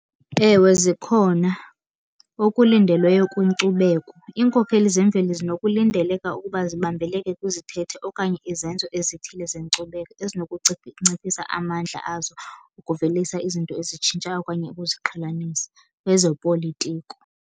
Ewe, zikhona. Okulindelweyo kwinkcubeko, iinkokheli zemveli zinokulindeleka ukuba zibambeleke kwizithethe okanye izenzo ezithile zenkcubeko ezinokunciphisa amandla azo ukuvelisa izinto ezitshintshayo okanye ukuziqhelanisa kwezopolitiko.